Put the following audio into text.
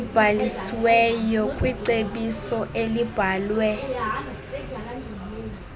ezibhalisiweyo kwicebiso elibhalwe